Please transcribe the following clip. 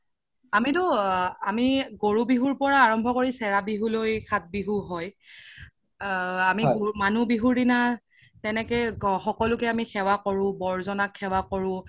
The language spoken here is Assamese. আমিতো আমি গৰু বিহুৰ পৰা আৰাম্ব্য কৰি চেৰা বিহু লৈ সাত বিহু হৈ আ আমি মানুহ বিহুৰ দিনা তেনেকে সকলো কে সেৱা কৰো বৰ জনাক সেৱা কৰো